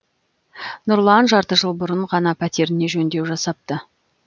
нұрлан жарты жыл бұрын ғана пәтеріне жөндеу жасапты